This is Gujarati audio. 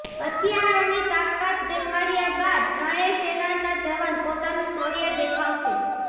હથિયારોની તાકાત દેખાડ્યા બાદ ત્રણેય સેનાના જવાન પોતાનું શૌર્ય દેખાડશે